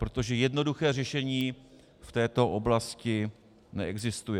Protože jednoduché řešení v této oblasti neexistuje.